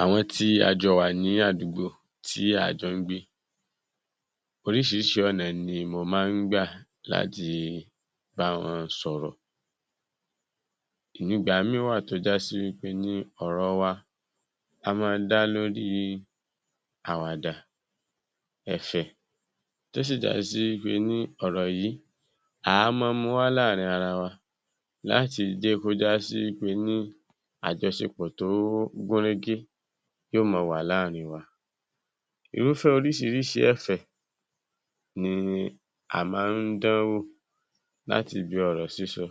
Àwọn tí a jọ wà ní àdúgbò tí a jọ ń gbé, oríṣiríṣi ọ̀nà ni mo máa ń gbà láti bá wọn sọ̀rọ̀. Ìgbà mìíràn wá à tó já sí wí pé ní ọ̀rọ̀ wa ó máa ń dá lórí àwàdà, ẹ̀fẹ̀ tó sì já sí ní pe ní a mọ́ ọ ń mú wa láàárín ara wa tó sì já sí ní pe ní àjọṣepọ̀ tó gún régé yóò mọ wà láàárín wa, irúfẹ́ oríṣiríṣi ẹ̀fẹ̀ la mọ́ ń dánwò láti ibi ọ̀rọ̀ sísọ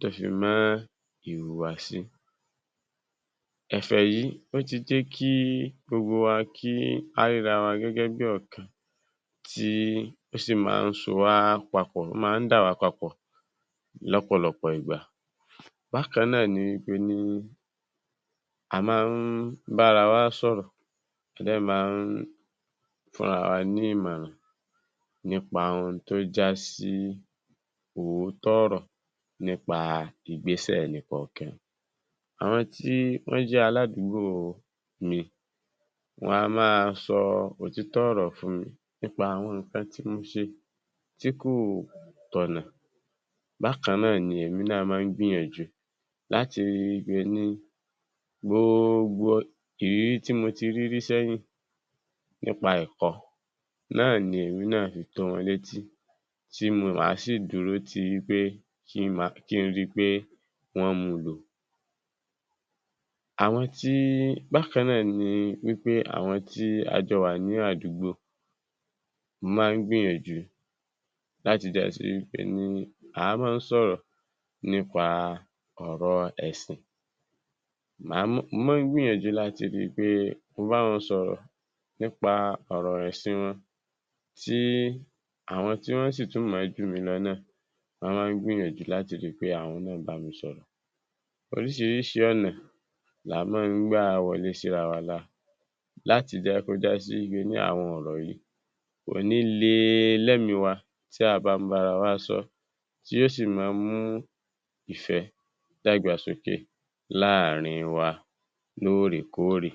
tó fi mọ́ ìhùwàsí, ẹ̀fẹ̀ yìí ó ti jẹ́ kí gbogbo wa rí ara wa bí ọ̀kan tí ó sì tún máa ń jẹ́ kí a bára wa sọ̀rọ̀, fún ara wa ní ìmọ̀ràn lórí ohun tó jásí òótọ́ ọ̀rọ̀ lórí ìgbésẹ̀ ẹni kọ̀ọ̀kan. Àwọn tí wọ́n jẹ́ aládùúgbò mi wọn a máa sọ òtítọ́ ọ̀rọ̀ fún mi nípa àwọn nǹkan tí mo ṣe tí kò tọ̀nà, bákan náà ni èmi náà mọ́ ọ ń gbìyànjú láti rí pé ni, gbogbo ìrírí tí mo ti rírí sẹ́yìn nípa ẹ̀kọ́ tí mà á sì dúró wí pé wọ́n mu lò, àwọn tí, bákan náà, àwọn tí a jọ wà ní àdúgbò, mo máa ń gbìyànjú si pé ni, a máa ń gbìyànjú nípa ọ̀rọ̀ ẹ̀sìn, mo mọ̀ ọ́n ń gbìyànjú láti rí wí pé bá mo bá wọn sọ̀rọ̀ nípa ẹ̀sìn wọn tí àwọn tí wọ́n sì tún mọ̀ ọ́n jù mí lọ náà, wọ́n máa ń gbìyànjú láti rí pé àwọn náà bá mi sọ̀rọ̀, oríṣiríṣi ọ̀nà ni a máa ń gbà wọlé sí ara wa lára láti jẹ́ kí ó já sí wí pé àwọn ọ̀rọ̀ wọ̀nyí kò ní le lẹ́mìí wa tí a bá ń bára wa ṣòrọ̀, tí ó sì le mú ìfẹ́ àti ìdàgbàsókè wà láàárín wa lóòrè-kóòrè.